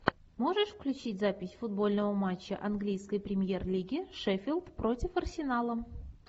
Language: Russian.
можешь включить запись футбольного матча английской премьер лиги шеффилд против арсенала